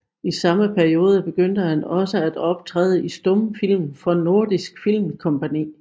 I samme periode begyndte han også at optræde i stumfilm for Nordisk Film Kompangni